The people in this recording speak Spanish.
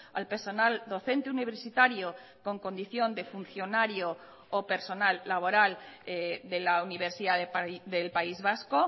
al personal docente universitario con condición de funcionario o personal laboral de la universidad del país vasco